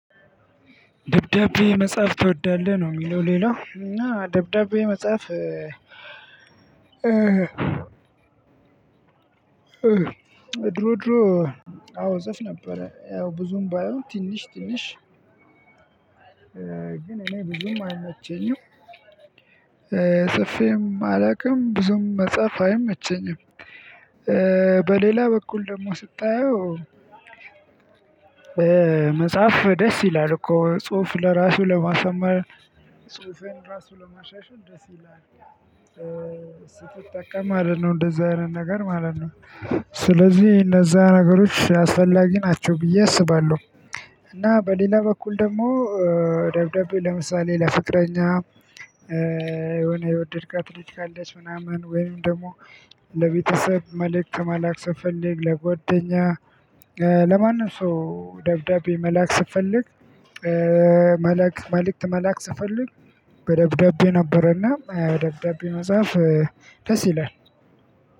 ደብዳቤ መጻፍ ትወዳለህ ነው የሚለው ሌላው አዎ ደብዳቤ መጻፍ። ድሮ ድሮ አዎ እጽፍ ነበረ ያው ብዙም ባይሆን ትንሽ ትንሽ። ግን እኔ ብዙም አይመቸኝም። ጽፌም አላውቅም ብዙም መጻፍ አይመቸኝም። በሌላ በኩል ደግሞ ስታየው። መጽሐፍ ደስ ይላል እኮ ጽሁፍ ለራሱ ለማሳመር ጽሁፌን ራሱ ለማሻሻል ደስ ይላል። ስትጠቀም ማለት ነው እንደዚህ አይነት ነገር ማለት ነው። ስለዚህ እነዛ ነገሮች አስፈላጊ ናቸው ብዬ አስባለሁ። እና በሌላ በኩል ደግሞ ደብዳቤ ለምሳሌ ለፍቅረኛ የሆነ የወደድካት ልጅ ካለች ምናምን ወይም ደግሞ ለቤተሰብ መልእክት መላክ ስንፈልግ ለጎደኛ ለማንም ሰው ደብዳቤ መላክ ስንፈልግ። መልእክት መልእክት ስፈልግ በደብዳቤ ነበረና ደብዳቤ መጽሐፍ ደስ ይላል።